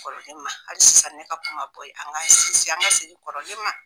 Kɔrɔlen ma, hali sisan ne ka kuma be an kan sinsin an ka segin kɔrɔlen ma.